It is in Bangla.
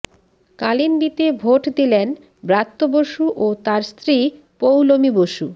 কালিন্দিতে ভোট দিলেন ব্রাত্য বসু ও তাঁর স্ত্রী পৌলোমি বসু